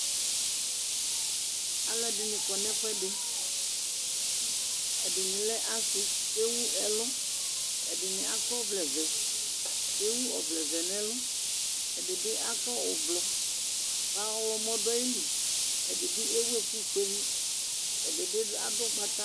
Aluɛdini kɔ nu ɛfuɛdi ɛdini lɛ asi ku ewuɛ ɛlu ɛdini akɔ ɔvlɛ vɛ ewu ɔvlɛ vɛ nu ɛlu ɛdi bi akɔ ublu ka ɔɣlomɔ bi du ayili ɛdibi ewu ɛku fue ɛdibi adu ugbata